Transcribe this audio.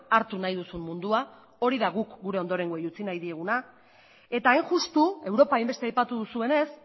hartu nahi duzun mundua hori da guk gure ondorengoei utzi nahi dieguna eta hain justu europa hainbeste aipatu duzuenez